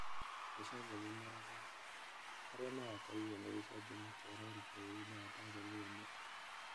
Gicanjama Morogoro: Arĩa marakorirwo nĩ gĩcanjama kĩa rori bũrũri-inĩ wa Tanzania nĩ a?